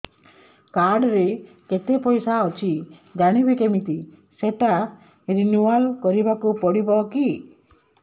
card ରେ କେତେ ପଇସା ଅଛି ଜାଣିବି କିମିତି ସେଟା ରିନୁଆଲ କରିବାକୁ ପଡ଼ିବ କି